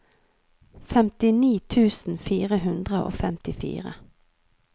femtini tusen fire hundre og femtifire